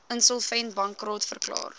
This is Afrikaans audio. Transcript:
insolvent bankrot verklaar